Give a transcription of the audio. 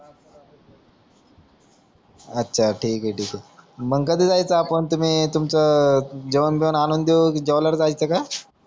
अच्छा ठिके ठिके मंग कधी जायचं आपण तुम्ही तुमचं जेवण बिवणं आणुन देऊ कि जेवल्यावर जायचं का